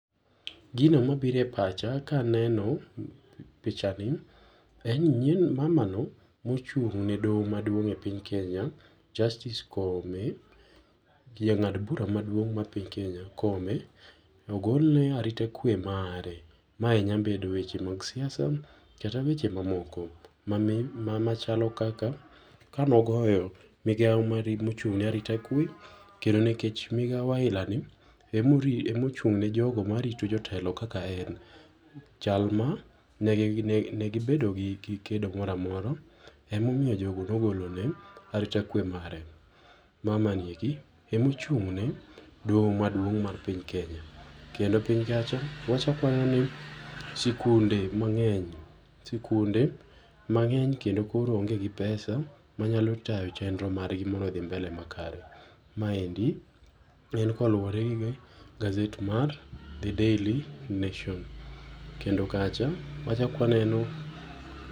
Gino mabiro e pacha ka aneno pichani en nyieno, mamano mochungne doho maduong e piny Kenya, Justice Koome jang'ad bura maduong ma piny Kenya, Koome, ogolne arita kwee mare. Mae nya bedo weche mag siasa kata weche mamoko machalo kaka kane ogoyo migao mare mochung ne arita kwee kendo nikech migao aila ni ema oori ema ochung ne jogo marito jotelo kaka en, chalma negi bedo gi gi kedo moro amora ema omiyo jogo ne ogolo ne arita kwee mare. Mama ni eki ema ochungne doho maduong mar piny Kenya. Kendo piny kacha wachak waneno ni sikunde mangeny ,sikunde mangeny kendo koro onge gi pesa manyalo tayo chenro margi mondo odhi mbele makare. Maendi en koluore kod gaset mar the Daily Nation kendo kacha wachak waneno